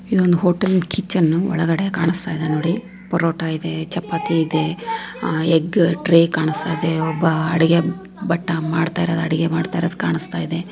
ಇದೊಂದು ಹೋಟೆಲ್ ಕಿಚ್ಚನ್ನು ಒಳಗಡೆ ಕಾಣುಸ್ತಾ ಇದೆ ನೋಡಿ ಪರೋಟ ಇದೆ ಚಪಾತಿ ಇದೆ ಎಗ್ ಟ್ರೈ ಕಾಣಿಸ್ತಾ ಇದೆ ಒಬ್ಬ ಅಡಿಗೆ ಭಟ್ಟ ಅಡಿಗೆ ಮಾಡ್ತಾ ಇರೋದು ಅಡಿಗೆ ಮಾಡ್ತಾ ಇರೊದು ಕಾಣಸ್ತಾ ಇದೆ.